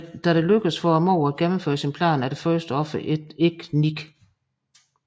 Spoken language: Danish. Da det lykkes for morderen at gennemføre sin plan er det første offer ikke Nick